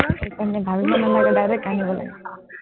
সেইকাৰণে ভাৱিব নালাগে, direct আনিব লাগে।